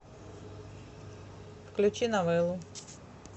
включи новеллу